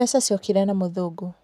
mbeca ciokire na mũthũngũ